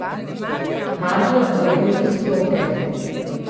Radio je bil izklopljen.